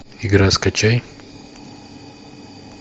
игра скачай